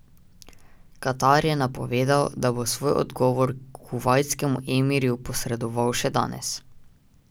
Katar je napovedal, da bo svoj odgovor kuvajtskemu emirju posredoval še danes.